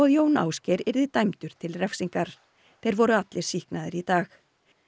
Jón Ásgeir yrði dæmdur til refsingar þeir voru allir sýknaðir í dag